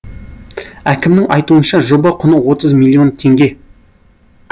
әкімнің айтуынша жоба құны отыз миллион теңге